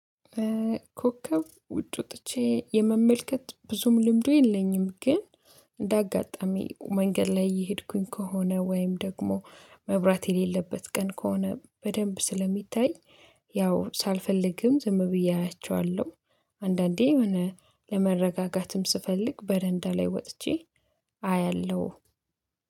ኮከብ ውጭ ወጥቼ የመመልከት ብዙም ልምዱ የለኝም። ግን እንዳጋጣሚ መንገድ ላይ እየሄድኩኝ ከሆነ ወይም ደግሞ መብራት የሌለበት ቀን ከሆነ በደንብ ስለሚታይ ያው ሳልፈልግም ዝም ብዬ አያቸዋለሁ። አንዳንዴ የሆነ ለመረጋጋትም ስፈልግ በረንዳ ላይ ወጥቼ አያለሁ